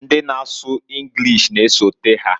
Ndi na asu Enlish na-esota ha.